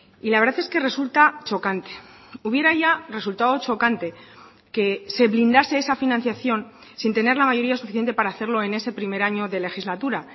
y la verdad es que resulta chocante hubiera ya resultado chocante que se blindase esa financiación sin tener la mayoría suficiente para hacerlo en ese primer año de legislatura